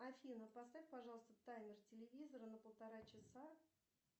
афина поставь пожалуйста таймер телевизора на полтора часа